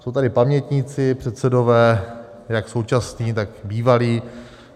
Jsou tady pamětníci, předsedové jak současní, tak bývalí.